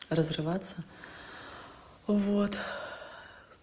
разрываться вот